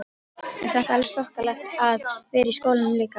En samt alveg þokkalegt að vera í skólanum líka?